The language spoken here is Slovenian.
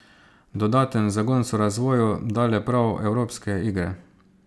Dodaten zagon so razvoju dale prav evropske igre.